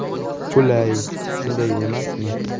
Qulay, shunday emasmi?